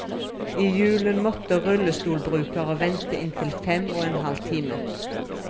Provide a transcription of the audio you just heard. I julen måtte rullestolbrukere vente inntil fem og en halv time.